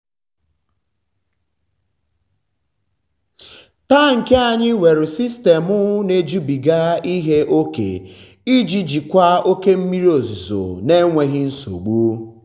tankị anyị nwere sistemu na-ejubiga ihe ókè iji jikwa oke mmiri ozuzo n'enweghị nsogbu.